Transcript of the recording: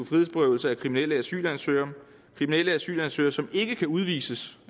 frihedsberøvelse af kriminelle asylansøgere kriminelle asylansøgere som ikke kan udvises